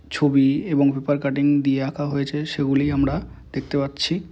ছবি এবং paper cutting দিয়ে আঁকা হয়েছে সেগুলি আমরা দেখতে পাচ্ছি।